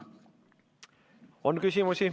On küsimusi.